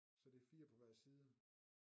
Så det er 4 på hver side